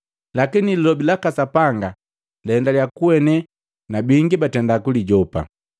Lakini Lilobi laka Sapanga laendalya kuene na bingi batenda kulijopa.